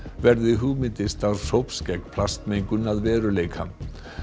verði hugmyndir starfshóps gegn plastmengun að veruleika